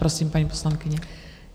Prosím, paní poslankyně.